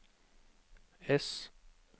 S